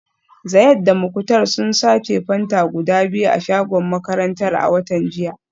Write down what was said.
Zayad da Muktar sun sace Fanta guda biyu a shagon makarantar a watan jiya